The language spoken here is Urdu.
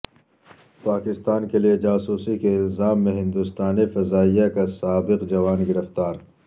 پاکستان کیلئے جاسوسی کے الزام میں ہندوستانی فضائیہ کا سابق جوان گرفتار